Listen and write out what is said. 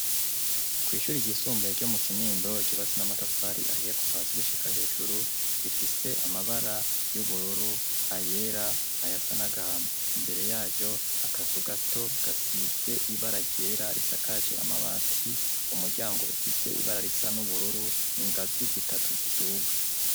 Kw'ishuri ry'isumbuye ryo mu Kinindo ryubatse namatafari ahiye kuva hasi gushika hejuru rifise amabara y'ubururu ayera nayasa nagahama. Imbere yaryo akazu gato gasize ibara ryera risakaje amabati rifise umuryango ibara risa n'ubururu ningazi zitatu ziduga.